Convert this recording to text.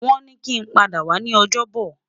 Won ni ki n pada wa ni Ojobo